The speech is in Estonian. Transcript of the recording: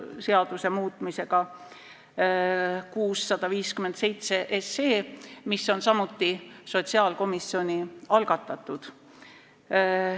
See on eelnõu 657, mis on samuti sotsiaalkomisjoni algatatud.